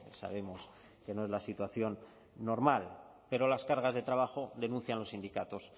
sabemos que no es la situación normal pero las cargas de trabajo denuncian los sindicatos